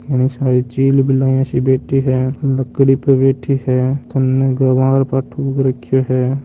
घणी सारी चिलबिलाव सी बैठी हैं लकड़ी पर बैठी हैं कन गवार पाठों उग रखो हैं।